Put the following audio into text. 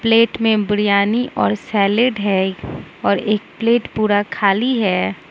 Plate में बिरयानी और salad है और एक प्लेट पूरा खाली है।